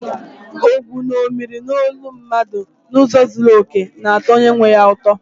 Ogwu ṅomiri olu mmadụ n’ụzọ zuru oke, na-atọ onye nwe ya ụtọ.